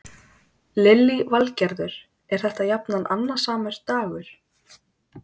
Lillý Valgerður: Er þetta jafnan annasamur dagur?